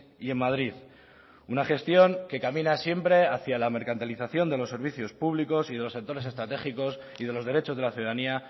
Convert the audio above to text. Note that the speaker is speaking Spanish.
y en madrid una gestión que camina siempre hacia la mercantilización de los servicios públicos y de los sectores estratégicos y de los derechos de la ciudadanía